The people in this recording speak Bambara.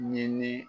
Ɲini